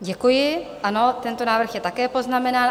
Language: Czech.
Děkuji, ano, tento návrh je také poznamenán.